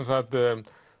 það